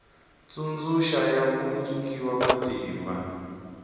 tsundzuxa ya ku nyikiwa matimba